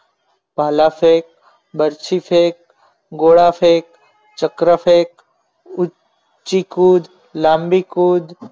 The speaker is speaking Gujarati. ભાલા સે બરફી ફેક ગોળા ફેંક ચક્ર ફેક ઊંચી ખુદ લાંબી કુદ